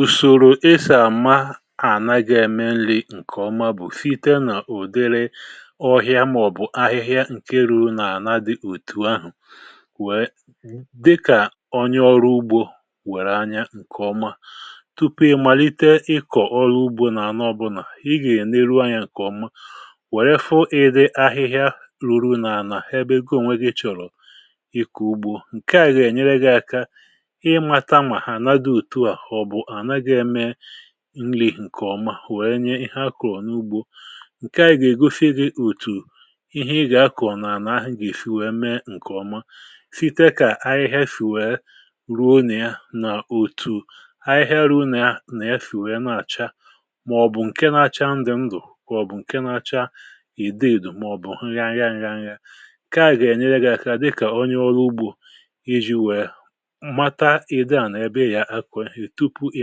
Usòrò esi àma a na ga-eme nri̇ ǹkè ọma bụ̀ site nà ụ̀dịrị ọhịa mà ọ̀bụ̀ ahịhịa ǹke ruù nà-àna dị òtù ahụ̀ wee dịkà onye ọrụ ugbȯ wère anyȧ ǹkè ọma. Tupu ị malite ịkọ̀ ọrụ ugbȯ nà anọ ọbụlà ị gà-èleru anyȧ ǹkè ọma wèe fụ ịdị ahịhịa ruru nà anà ebe gị ònwe gị chọ̀rọ̀ ịkọ̀ ugbȯ. Nke à gà-ènyere gị ị mata ma hala dị otu a ma-ọbụ ala ga eme nri ǹkè ọma wèe nye ihe akọ̀ n’ugbȯ. Nke à gà-ègosi gị òtù ihe ị gà-akọ̀ nà ala ahụ̀ gà esi wèe mee ǹkè ọma site kà ahịhịa shì wèe ruo na ya na òtù ahịhịa ruo nà ya nà ya sì wèe na-àcha mà ọ̀bụ̀ ǹke na-acha ndụ̀ ndụ̀ ọ̀bụ̀ ǹke na-acha ìdụ̀ ìdụ̀ mà-ọ̀bụ̀ nghangha-nghangha nke a ga eṅyėre gị aka dịkà onye ọrụ ugbȯ iji̇ wèe mata ịdị ala ebe ị ga akọ ihe tupu ị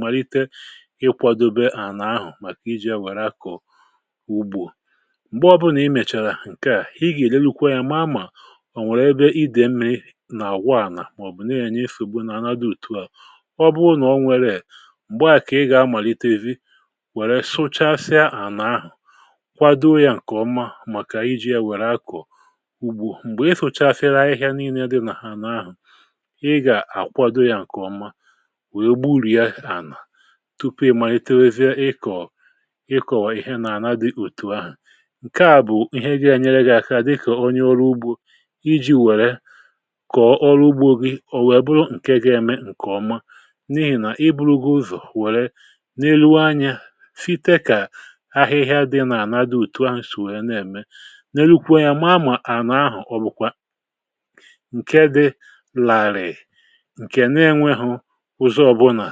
malite ị kwadobe àla ahụ̀ màkà iji ya wèrè akọ̀ ugbò. Mgbe ọbụna i mèchàrà ǹke à, i gà-èlerukwa yȧ maa mà o nwee ebe idè mmiri nà-àgwa ànà mà-ọ̀bụ̀ na-ènye nsogbu n’ana dị òtu à. Ọ bụrụ nà o nweree, m̀gbe à kà ị gà-amàlite zi wèrè sụchasịa àla ahụ̀ kwado ya ǹkè ọma màkà iji ya wèrè akọ̀ ugbo. Mgbè i sụ̀chasịrị ahịhịa niile dị nà ha n’ahụ̀, ị ga akwado ya ǹkè ọma wee gburie ala tupu ị malitowezie ịkọ̀ ịkọ̀ ihe nà-àna dị otù ahụ̀ ǹke à bụ̀ ihe ga enyere gị̇ aka dịkà onye ọrụ ugbȯ iji̇ wère kọ̀ọ ọrụ ugbȯ gị ò wee bụrụ ǹke ga-eme ǹkè ọma. N’ihì nà iburu̇ gị̇ ụzọ̀ wère leruo anyȧ site kà ahịhịa dị n’àla dị otù ahụ̀ sị̀ wèe na-ème. Lerukwuo anya maa mà àna ahụ̀ ọ bụ̀kwa ǹke dị làrị̀, ǹke na-enwehụ ụzọ ọbụna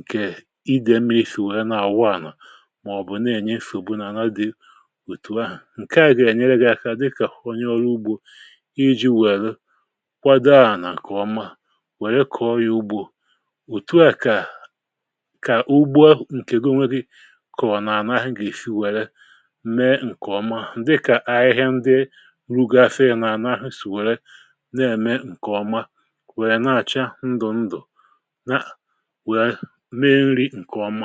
ǹkè idè mmiri̇ sì wèe na-àwụ ànà mà-ọ̀bụ̀ na-ènye nsogbu n’àla dị òtù ahụ̀. Nke à gà-ènyere gị̇ aka dịkà onye ọrụ ugbȯ iji wère kwado alà ǹkè ọma wère kọ̀ọ ya ugbo. Otù a kà ka ugbo ǹkè gị̇ onwe gị̇ kọọ nà ànà ahụ̀ gà-èsi wère mee ǹkè ọma dịkà ahịhịa ndi ruru afịa nà ànà ahụ̀ sì wère na-ème ǹkè ọma wèè na-àcha ndụ̀ ndụ̀ na wee mee nri̇ nkè ọ́mà